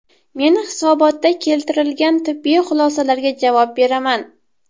Men hisobotda keltirilgan tibbiy xulosalarga javob beraman.